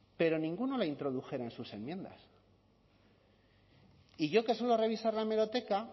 pero ninguno la introdujera en sus enmiendas y yo que suelo revisar la hemeroteca